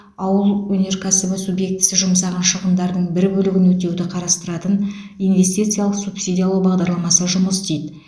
ауыл өнеркәсібі субъектісі жұмсаған шығындардың бір бөлігін өтеуді қарастыратын инвестициялық субсидиялау бағдарламасы жұмыс істейді